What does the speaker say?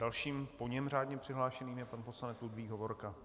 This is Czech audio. Dalším po něm řádně přihlášeným je pan poslanec Ludvík Hovorka.